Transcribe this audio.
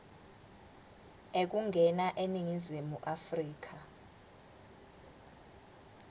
ekungena eningizimu afrika